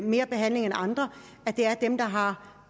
mere behandling end andre at det er dem der har